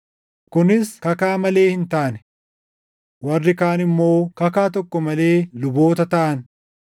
Kunis kakaa malee hin taane! Warri kaan immoo kakaa tokko malee luboota taʼan;